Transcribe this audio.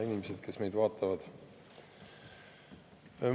Inimesed, kes meid vaatavad!